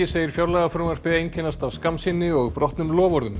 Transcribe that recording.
segir fjárlagafrumvarpið einkennast af skammsýni og brotnum loforðum